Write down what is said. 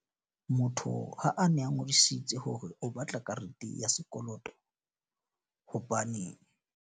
Motho ha a ne a ngodisitswe hore o batla karete ya sekoloto. Hobane.